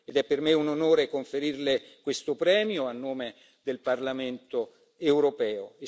È per me un onore conferirle questo premio, a nome del Parlamento europeo.